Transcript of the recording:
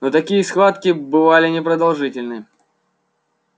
но такие схватки бывали непродолжительны